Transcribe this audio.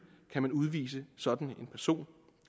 kan man udvise sådan en person